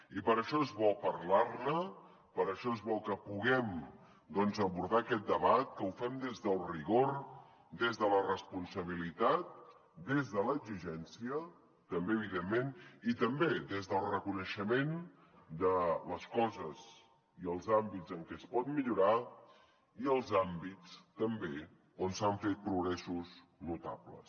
i per això és bo parlar ne per això és bo que puguem doncs abordar aquest debat que ho fem des del rigor des de la responsabilitat des de l’exigència també evidentment i també des del reconeixement de les coses i els àmbits en què es pot millorar i els àmbits també on s’han fet progressos notables